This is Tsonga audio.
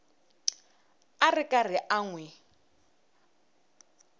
ri karhi a n wi